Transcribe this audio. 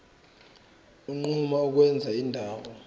unquma ukwenza indawo